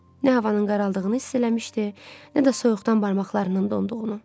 Nə havanın qaraldığını hiss eləmişdi, nə də soyuqdan barmaqlarının donduğunu.